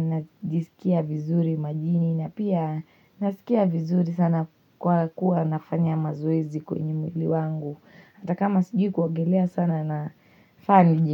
najisikia vizuri majini, na pia nasikia vizuri sana kwa kuwa nafanya mazoezi kwenye mwili wangu. Hata kama sijui kuogelea sana nafaa ni.